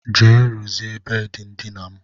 Gaa rụzie bedị ndina m.